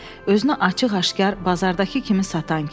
Özünü açıq-aşkar bazardakı kimi satan kim.